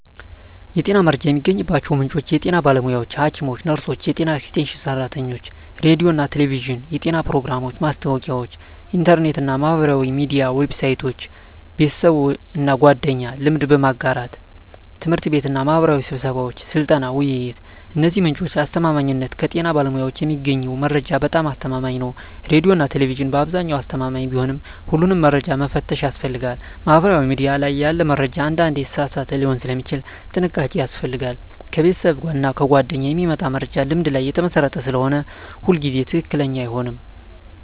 የጤና መረጃ የሚገኝባቸው ምንጮች የጤና ባለሙያዎች (ሐኪሞች፣ ነርሶች፣ የጤና ኤክስቴንሽን ሰራተኞች) ሬዲዮና ቴሌቪዥን (የጤና ፕሮግራሞች፣ ማስታወቂያዎች) ኢንተርኔት እና ማህበራዊ ሚዲያ ዌብሳይቶች) ቤተሰብና ጓደኞች (ልምድ በመጋራት) ት/ቤትና ማህበራዊ ስብሰባዎች (ስልጠና፣ ውይይት) የእነዚህ ምንጮች አስተማማኝነት ከጤና ባለሙያዎች የሚገኘው መረጃ በጣም አስተማማኝ ነው ሬዲዮና ቴሌቪዥን በአብዛኛው አስተማማኝ ቢሆንም ሁሉንም መረጃ መፈተሽ ያስፈልጋል ማህበራዊ ሚዲያ ላይ ያለ መረጃ አንዳንዴ የተሳሳተ ሊሆን ስለሚችል ጥንቃቄ ያስፈልጋል ከቤተሰብና ጓደኞች የሚመጣ መረጃ ልምድ ላይ የተመሰረተ ስለሆነ ሁሉ ጊዜ ትክክለኛ አይሆንም